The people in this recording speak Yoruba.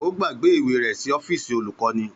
Ó gbàgbé ìwé rẹ̀ ní ọ́fíìsì olùkọ́ni.